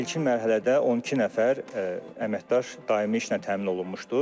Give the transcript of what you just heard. İlkin mərhələdə 12 nəfər əməkdaş daimi işlə təmin olunmuşdur.